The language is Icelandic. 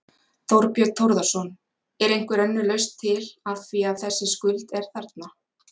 Þorbjörn Þórðarson: Er einhver önnur lausn til, af því að þessi skuld er þarna?